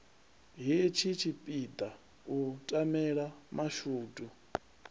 hetshi tshipiḓa u tamela mashudu